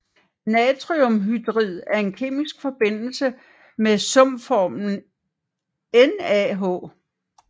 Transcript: Natriumhydrid er en kemisk forbindelse med sumformlen NaH